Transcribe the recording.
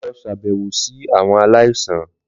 Lọ ṣabẹwo si awọn alaisan!